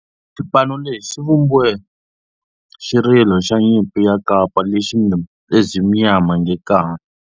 Xipano lexi xi vumbe xirilo xa nyimpi xa kampa lexi nge 'Ezimnyama Ngenkani'.